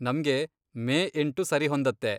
ನಮ್ಗೆ ಮೇ ಎಂಟು ಸರಿಹೊಂದತ್ತೆ.